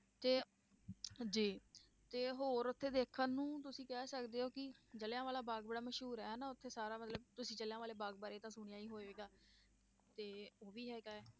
ਤੇ ਜੀ ਤੇ ਹੋਰ ਉੱਥੇ ਦੇਖਣ ਨੂੰ ਤੁਸੀਂ ਕਹਿ ਸਕਦੇ ਹੋ ਕਿ ਜ਼ਿਲਿਆਂ ਵਾਲਾ ਬਾਗ਼ ਬੜਾ ਮਸ਼ਹੂਰ ਹੈ ਨਾ ਉੱਥੇ ਸਾਰਾ ਮਤਲਬ ਤੁਸੀਂ ਜ਼ਿਲਿਆਂ ਵਾਲੇ ਬਾਗ਼ ਬਾਰੇ ਤਾਂ ਸੁਣਿਆ ਹੀ ਹੋਵੇਗਾ, ਤੇ ਉਹ ਵੀ ਹੈਗਾ ਹੈ।